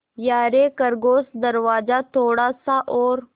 यारे खरगोश दरवाज़ा थोड़ा सा और